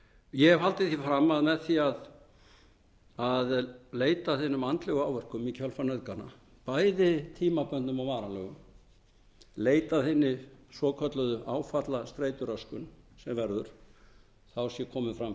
ég hef haldið því fram að með því að leita að hinum andlegu áverkum í kjölfar nauðgana bæði tímabundnum og varanlegum leita að hinni svokölluðu áfallastreituröskun sem verður sé komin